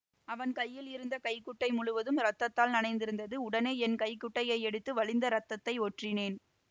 அவன் கையில் இருந்த கைக்குட்டை முழுவதும் இரத்தத்தால் நனைந்திருந்தது உடனே என் கைக்குட்டையை எடுத்து வழிந்த இரத்தத்தை ஒற்றினேன்